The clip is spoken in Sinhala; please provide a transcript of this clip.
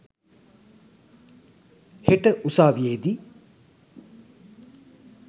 හෙට උසාවියේ දී.